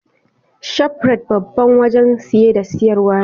Shafrat Babban wajan siye da siyarwa ne